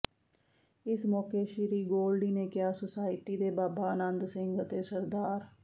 ਇਸ ਮੌਕੇ ਸ੍ਰੀ ਗੋਲਡੀ ਨੇ ਕਿਹਾ ਸੁਸਾਇਟੀ ਦੇ ਬਾਬਾ ਅਨੰਦ ਸਿੰਘ ਅਤੇ ਸ੍ਰ